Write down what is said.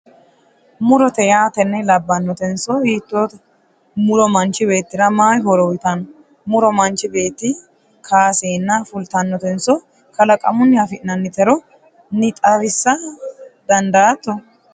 murote yaa tenne labbanotenso hiittoote? muro manchi beettira mayi horo uyiitanno? muro manchi beetti kaaseenna fultannonso kalaqamunnino afi'nannitero nxawisa dandaatto?